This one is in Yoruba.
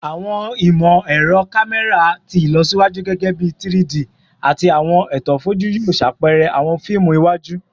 Awọn imọ-ẹrọ kamẹra ti ilọsiwaju, gẹgẹbi 3-D ati awọn eto foju, yoo ṣe apẹrẹ awọn fiimu iwaju